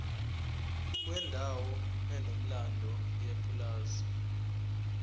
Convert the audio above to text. kwendawo enomlando yepulazi